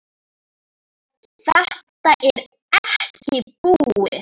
Þetta er ekki búið.